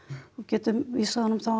og getum þá vísað honum